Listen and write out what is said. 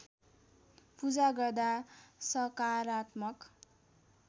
पूजा गर्दा सकारात्मक